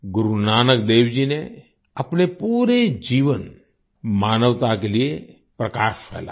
गुरु नानकदेव जी ने अपने पूरे जीवन मानवता के लिए प्रकाश फैलाया